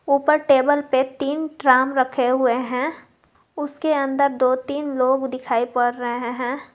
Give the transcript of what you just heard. ऊपर टेबल पे तीन ट्राम रखे हुए हैं उसके अंदर दो तीन लोग दिखाई पड़ रहे हैं।